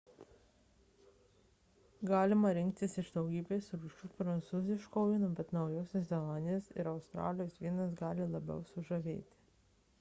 galima rinktis iš daugybės rūšių prancūziško vyno bet naujosios zelandijos ir australijos vynas gali sužavėti labiau